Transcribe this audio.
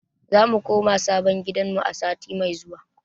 Zamu koma sabon gidanmu a sati mai zuwa.